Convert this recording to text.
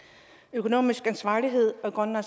økonomisk ansvarlighed